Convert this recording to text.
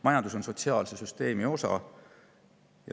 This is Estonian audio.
Majandus on sotsiaalse süsteemi osa.